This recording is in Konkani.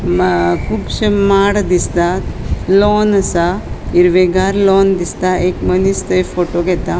कूबशे माड दिसता लॉन असा हिरवेगार लॉन दिसता एक मनिस थंय फोटो घेता.